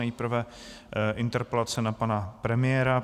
Nejprve interpelace na pana premiéra.